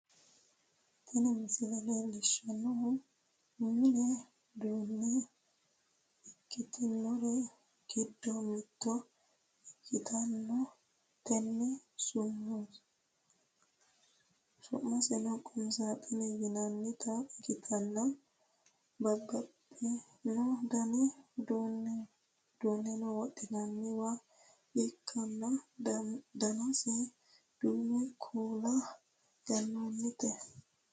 tini misile leellishshannohu mini uduunne ikkitinori giddo mitto ikkitanna, tenne su'maseno qumi saaxinete yinannita ikkitanna, babbxxino dani uduunne wodhi'nanniwa ikkanna, danaseno duume kuula ganoonnite.